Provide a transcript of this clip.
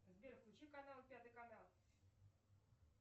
сбер включи канал пятый канал